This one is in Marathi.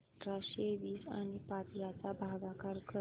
अठराशे वीस आणि पाच यांचा भागाकार कर